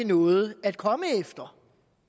noget at komme efter